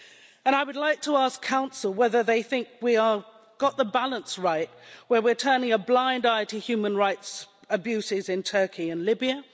And I would like to ask Council whether they think we have got the balance right, where we are turning a blind eye to human rights abuses in Turkey and Libya?